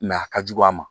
a ka jugu a ma